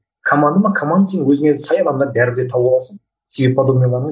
команда ма команда сен өзіңе сай адамдарды бәрібір де тауып аласың